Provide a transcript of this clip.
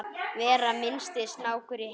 vera minnsti snákur í heimi